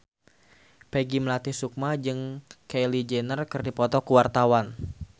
Peggy Melati Sukma jeung Kylie Jenner keur dipoto ku wartawan